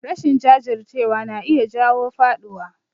Rashin jajircewa na iya jawo faɗuwa